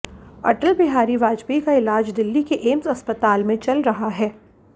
अटल बिहारी वाजपेयी का इलाज दिल्ली के एम्स अस्पताल में चल रहा है